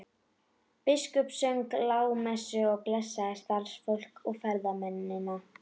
Biskup söng lágmessu og blessaði staðarfólk og ferðamennina.